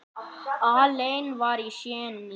Allen var séní.